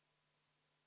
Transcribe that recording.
Aitäh, hea eesistuja!